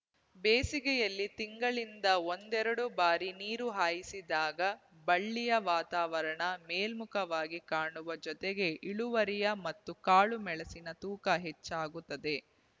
ಬೇಸಿಗೆಯಲ್ಲಿ ತಿಂಗಳಿಂದ ಒಂದೆರಡು ಬಾರಿ ನೀರು ಹಾಯಿಸಿದಾಗ ಬಳ್ಳಿಯ ವಾತಾವರಣ ಮೇಲ್ಮುಖವಾಗಿ ಕಾಣುವ ಜತೆಗೆ ಇಳುವರಿಯ ಮತ್ತು ಕಾಳು ಮೆಣಸಿನ ತೂಕ ಹೆಚ್ಚಾಗುತ್ತದೆ